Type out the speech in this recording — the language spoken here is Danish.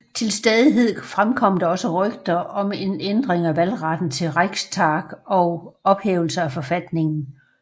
Til stadighed fremkom der også rygter om en ændring af valgretten til Reichstag og ophævelse af forfatningen